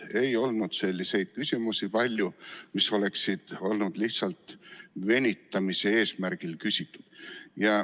Ei olnud palju selliseid küsimusi, mis oleksid olnud lihtsalt venitamise eesmärgil küsitud.